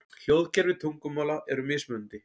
Hljóðkerfi tungumála eru mismunandi.